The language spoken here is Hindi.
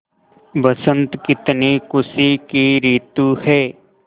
बसंत कितनी खुशी की रितु है